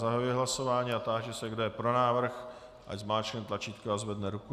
Zahajuji hlasování a táži se, kdo je pro návrh, ať zmáčkne tlačítko a zvedne ruku.